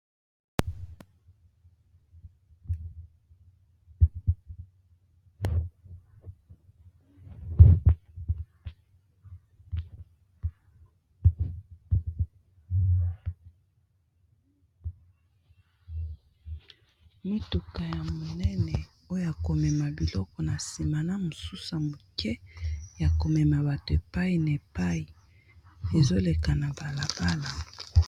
Motuka ya monene oya ko mema biloko na nsima na mosusu ya moke ya komema bato epai na epai ezoleka na balabala.